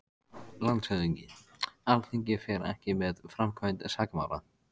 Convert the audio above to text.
LANDSHÖFÐINGI: Alþingi fer ekki með framkvæmd sakamála.